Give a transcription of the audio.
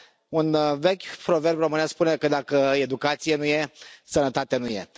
Un vechi proverb românesc spune că dacă educație nu e, sănătate nu e.